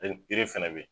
yiri fɛnɛ bɛ yen